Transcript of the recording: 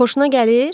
Xoşuna gəlir?